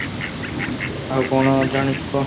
ଆଉ କ'ଣ ଜାଣିଛୁ କହ?